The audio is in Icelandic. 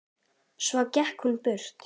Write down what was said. Svo gekk hún burt.